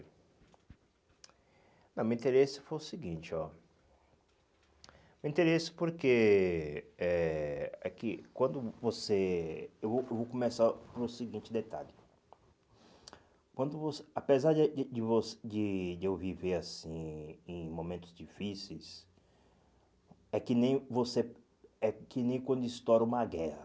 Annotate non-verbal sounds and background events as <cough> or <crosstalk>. não O meu interesse foi o seguinte, ó o interesse porque é é que quando você, eu vou eu vou começar com o seguinte detalhe, quando vo apesar de de <unintelligible> de eu de eu viver assim em momentos difíceis, é que nem você é que nem quando estoura uma guerra,